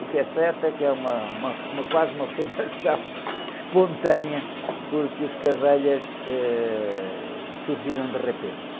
O que é certo é que é uma, uma, uma, quase uma formação espontânea porque os, eh, surgiram de repente.